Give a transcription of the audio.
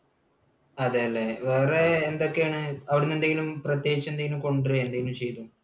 അതല്ലേ? വേറെ എന്തൊക്കെയാണ്? അവിടെ നിന്ന് എന്തെങ്കിലും പ്രത്യേകിച്ച് എന്തെങ്കിലും കൊണ്ടുവരികയോ എന്തെങ്കിലും ചെയ്തോ?